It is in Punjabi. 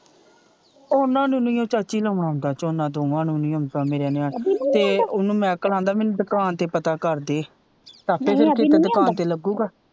ਓਹਨਾ ਨੂੰ ਨਹੀਓ ਚਾਚੀ ਲਾਉਣਾ ਆਉਂਦਾ ਝੋਨਾ ਦੋਵਾਂ ਨੂੰ ਨਹੀਂ ਆਉਂਦਾ ਮੇਰੇ ਨਿਆਣਿਆਂ ਨੂੰ ਤੇ ਓਹਨੂੰ ਮੈਕਲ ਆਂਦਾ ਮੈਨੂੰ ਦੁਕਾਨ ਤੇ ਪਤਾ ਕਰ ਦੇ ਆਪੇ ਫਿਰ ਦੁਕਾਨ ਤੇ ਲਗੂਗਾ।